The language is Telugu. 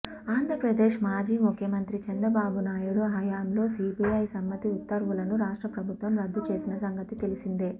ఆంధ్రప్రదేశ్ మాజీ ముఖ్యమంత్రి చంద్రబాబు నాయుడు హయంలో సీబీఐ సమ్మతి ఉత్తర్వులను రాష్ట్ర ప్రభుత్వం రద్దుచేసిన సంగతి తెలిసిందే